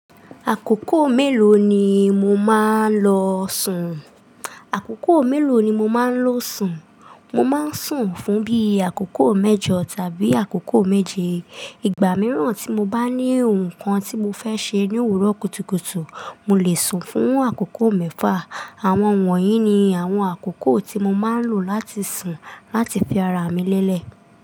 Àkókò mélòó ni mo máa ń lọ sùn? Àkókò mélòó ni mo máa ń lo sùn? Mo máa ń sùn fún bí àkókò mẹ́jọ̀ tàbí àkókò méje. Ìgbà mìíràn tí mo bá ní ohun kan tí mo fẹ́ ṣe ní òwúrọ̀ kùtùkùtù, mo lè sùn fún àkókò mẹ́fà. Àwọn wọ̀nyí ni àwọn àkókò tí mo máa ń lò láti sùn láti fi ara mi lélẹ̀.